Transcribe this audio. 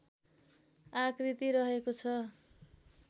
आकृति रहेको छ